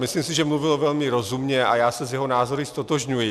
Myslím si, že mluvil velmi rozumně, a já se s jeho názory ztotožňuji.